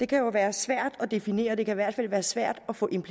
kan jo være svært at definere det kan i hvert fald være svært at få